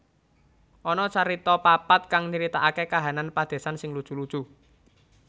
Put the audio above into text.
Ana carita papat kang nyritaaké kahanan padésan sing lucu lucu